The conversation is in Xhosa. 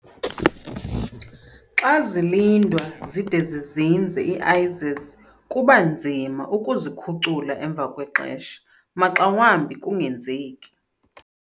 Xa zilindwa zide zizinze ii-AIS's, kuba nzima ukuzikhucula emva kwexesha, maxa wambi kungenzeki.